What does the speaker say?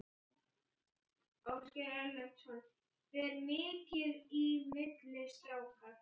Ásgeir Erlendsson: Ber mikið í milli strákar?